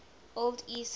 old east norse